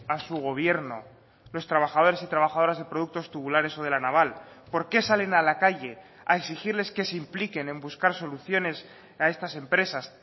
a su gobierno los trabajadores y trabajadoras de productos tubulares o de la naval por qué salen a la calle a exigirles que se impliquen en buscar soluciones a estas empresas